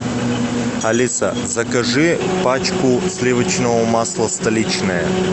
алиса закажи пачку сливочного масла столичное